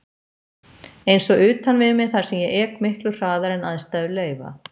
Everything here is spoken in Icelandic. Eins og utan við mig þar sem ég ek miklu hraðar en aðstæður leyfa.